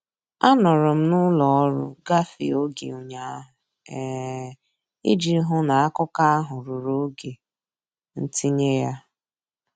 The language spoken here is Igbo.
Anọrọ m n'ụlọ ọrụ gafee oge ụnyaahụ um iji hụ na akụkọ ahụ ruru oge ntinye ya.